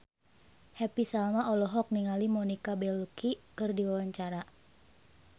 Happy Salma olohok ningali Monica Belluci keur diwawancara